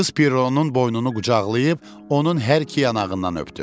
Qız Pironun boynunu qucaqlayıb onun hər iki yanağından öpdü.